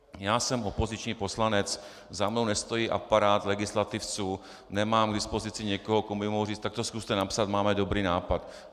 Já jsem opoziční poslanec, za mnou nestojí aparát legislativců, nemám k dispozici někoho, komu bych mohl říci tak to zkuste napsat, máme dobrý nápad.